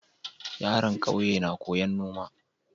Yaron ƙauye na koyan noma